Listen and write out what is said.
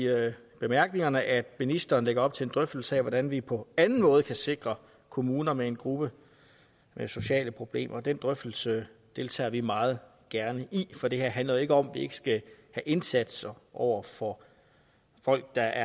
bemærkningerne at ministeren lægger op til en drøftelse af hvordan vi på anden måde kan sikre kommuner med en gruppe med sociale problemer den drøftelse deltager vi meget gerne i for det her handler jo ikke om at vi ikke skal have indsatser over for folk der